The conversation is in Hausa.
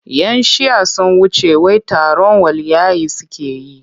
Yan shi'ah sun wuce wai taron waliyyai suke yi.